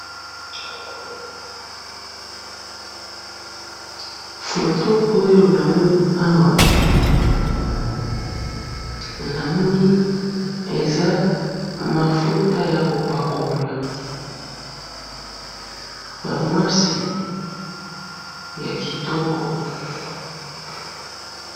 photo oyo namoni awa , namoni eza mafouta ya kopakola ,ya mwasi ya kitoko.